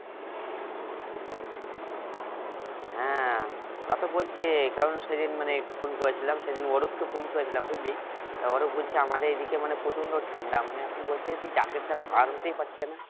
হ্যাঁ তা তো বলছে কারণ সেদিন মানে phone করেছিলাম সেদিন অরূপ কে phone করেছিলাম বুঝলি তা অরূপ বলছে আমাদের এদিকে মানে প্রচণ্ড ঠান্ডা মানে এখন বলছে jacket ছাড়া বের হতেই পারছে না